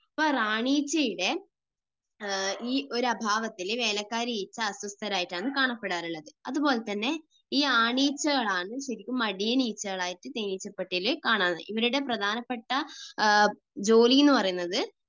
അപ്പോൾ റാണി ഈച്ചയുടെ ഈ ഒരു അഭാവത്തിൽ വേലക്കാരി ഈച്ച അസ്വസ്ഥരായിട്ടാണ് കാണപ്പെടാറുള്ളത്. അതുപോലെ തന്നെ ഈ ആണീച്ചകളാണ് ശരിക്കും മടിയനീച്ചകളായിട്ട് തേനീച്ചപ്പെട്ടിയിൽ കാണുക. ഇവരുടെ പ്രധാനപ്പെട്ട ജോലി എന്ന് പറയുന്നത്